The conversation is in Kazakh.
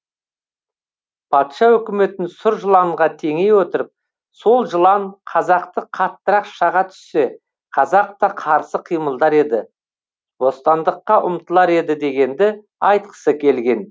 патша өкіметін сұр жыланға теңей отырып сол жылан қазақты қаттырақ шаға түссе қазақ та қарсы қимылдар еді бостандыққа ұмтылар еді дегенді айтқысы келген